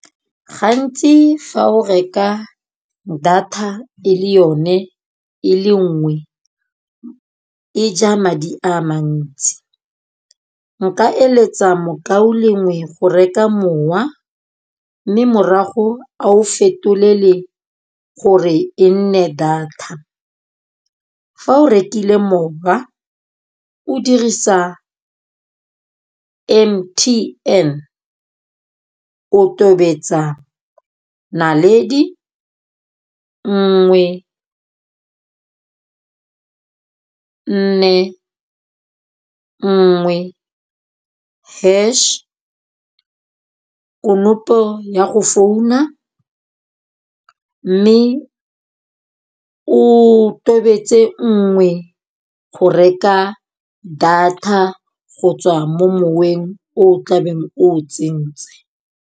Gantsi fa o reka data e le yone e le nngwe e ja madi a mantsi. Nka eletsa mokaulengwe go reka mowa. Mme morago a o fetolele gore e nne data. Fa o rekile mowa o dirisa M_T_N o tobetsa naledi, nngwe, nne, nngwe, hash, konopo ya go founa. Mme o tobetse nngwe go reka data go tswa mo moweng o tlabeng o tsentse.